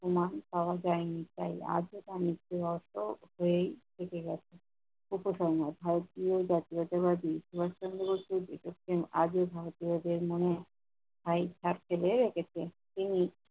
প্রমাণ পাওয়া যায়নি তাই আজও তার মৃত্যু রহস্য হয়েই থেকে গেছে। উপসংহার- ভারতীয় জাতীয়তাবাদী সুভাস চন্দ্র বসু আজও ভারতীয়দের মনে স্থায়ী ছাপ ফেলে রেখেছেন। তিনি